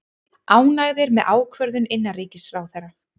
Ánægðir með ákvörðun innanríkisráðherra